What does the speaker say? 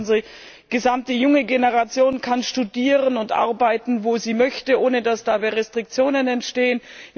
Zweitens Unsere gesamte junge Generation kann studieren und arbeiten, wo sie möchte, ohne dass dabei Restriktionen entstehen.